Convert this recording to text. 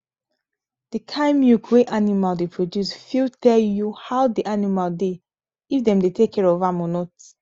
dey kind milk wey animal dey produce fit tell you how de animal dey if dem dey take care of am or not